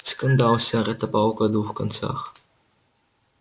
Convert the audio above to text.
скандал сэр это палка о двух концах